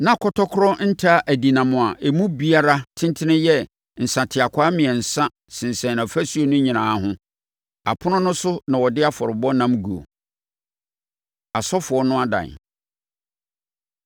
Na kɔtɔkorɔ nta adinam a emu biara tentene yɛ nsateakwaa mmiɛnsa sensɛn afasuo no nyinaa ho. Apono no so na wɔde afɔrebɔ ɛnam guo. Asɔfoɔ No Adan